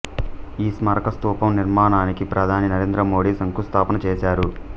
ఈ స్మారకస్తూపం నిర్మాణానికి ప్రధాని నరేంద్ర మోడీ శంకుస్థాపన చేశారు